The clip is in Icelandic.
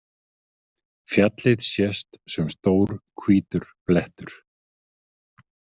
Fjallið sést sem stór hvítur blettur.